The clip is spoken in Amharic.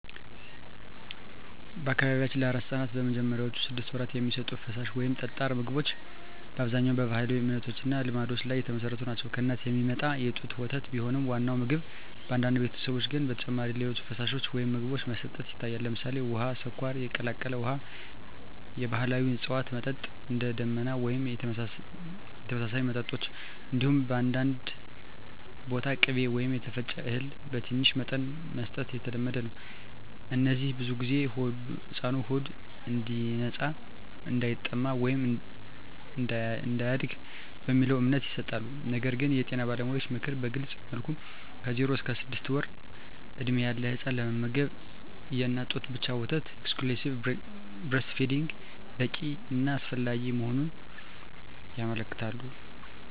በአካባቢያችን ለአራስ ሕፃናት በመጀመሪያዎቹ ስድስት ወራት የሚሰጡ ፈሳሽ ወይም ጠጣር ምግቦች በአብዛኛው በባህላዊ እምነቶች እና ልማዶች ላይ የተመሠረቱ ናቸው። ከእናት የሚመጣ የጡት ወተት ቢሆንም ዋናው ምግብ፣ በአንዳንድ ቤተሰቦች ግን ከዚህ በተጨማሪ ሌሎች ፈሳሾች ወይም ምግቦች መስጠት ይታያል። ለምሳሌ፣ ውሃ፣ ስኳር የቀላቀለ ውሃ፣ የባህላዊ እፅዋት መጠጥ (እንደ “ደመና” ወይም የተመሳሳይ መጠጦች)፣ እንዲሁም በአንዳንድ ቦታ ቅቤ ወይም የተፈጨ እህል በትንሽ መጠን መስጠት የተለመደ ነው። እነዚህ ብዙ ጊዜ “ሕፃኑ ሆዱ እንዲነጻ”፣ “እንዳይጠማ” ወይም “እንዲያድግ” በሚለው እምነት ይሰጣሉ። ነገር ግን የጤና ባለሙያዎች ምክር በግልፅ መልኩ ከ0–6 ወር ዕድሜ ያለ ሕፃን ለመመገብ የእናት ጡት ወተት ብቻ (exclusive breastfeeding) በቂ እና አስፈላጊ መሆኑን ያመለክታሉ።